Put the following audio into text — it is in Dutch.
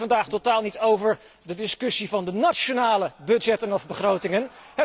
Het gaat hier vandaag totaal niet over de discussie inzake de nationale budgetten of begrotingen.